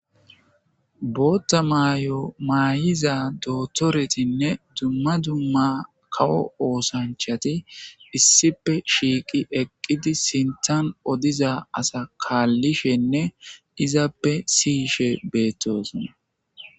Bootta may7o maayiza dootoretinne dumma dumma kawo oosanchati issipe shiiqi eqqidi sintan odiza asa kaallishenne izappe siyishe beettosona.